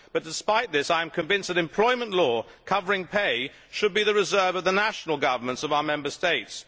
Despite this, I am convinced that employment law covering pay should be the preserve of the national governments of our Member States.